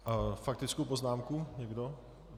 Faktickou poznámku někdo?